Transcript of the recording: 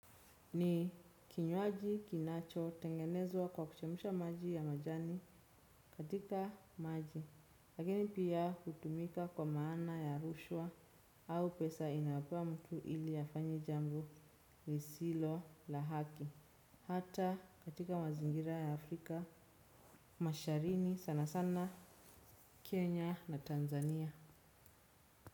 Ni kinywaji kinacho tengenezwa kwa kuchemsha maji ya majani katika maji, lakini pia hutumika kwa maana ya rushwa au pesa inayopewa mtu ili afanye jambo lisilo la haki. Hata katika mazingira ya Afrika, masharini sanasana Kenya na Tanzania.